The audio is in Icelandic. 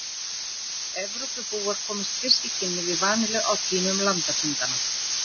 Evrópubúar komust fyrst í kynni við vanillu á tímum landafundanna.